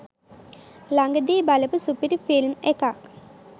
ලගදී බලපු සුපිරි ෆිල්ම් එකක්